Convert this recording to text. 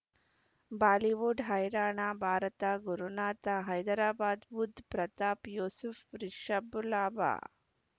Bollywood ಹೈರಾಣ ಭಾರತ ಗುರುನಾಥ ಹೈದರಾಬಾದ್ ಬುಧ್ ಪ್ರತಾಪ್ ಯೂಸುಫ್ ರಿಷಬ್ ಲಾಭ